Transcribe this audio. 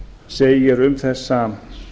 segir um þessa